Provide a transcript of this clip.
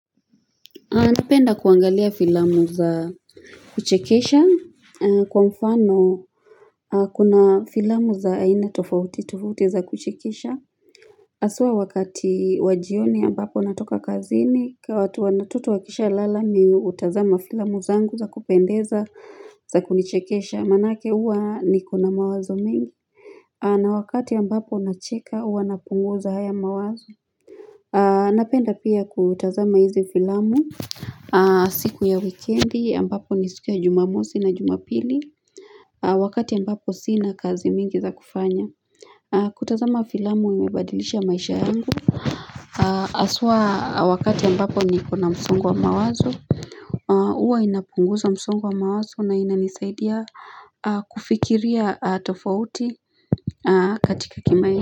Anapenda kuangalia filamu za kuchekesha kwa mfano kuna filamu za aina tofauti tofauti za kuchekesha Aswa wakati wajioni ambapo natoka kazini ka watu wana toto wakisha lala mi utazama filamu zangu za kupendeza za kunichekisha Manake uwa nikona mawazo mengi na wakati ambapo nacheka uwa napunguza haya mawazo Napenda pia kutazama hizi filamu siku ya weekendi ambapo ni siku ya jumamosi na jumapili Wakati ambapo sina kazi mingi za kufanya kutazama filamu imebadilisha maisha yangu Aswa wakati ambapo nikona msongo wa mawazo Uwa inapunguza msongo wa mawazo na inanisaidia kufikiria tofauti katika kimae.